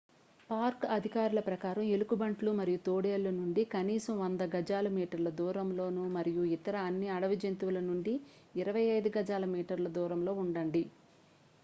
Park అధికారుల ప్రకారం ఎలుగుబంట్లు మరియు తోడేళ్ళ నుండి కనీసం 100 గజాల/మీటర్ల దూరంలో మరియు అన్ని ఇతర అడవి జంతువుల నుండి 25 గజాల/మీటర్ల దూరంలో ఉండండి!